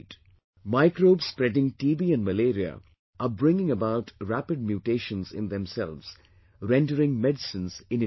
Microbes spreading TB and malaria are bringing about rapid mutations in themselves, rendering medicines ineffective